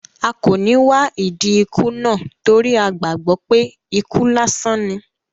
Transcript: A kò ní wá ìdí ikú náà torí a gbàgbó pé ikú lásán ní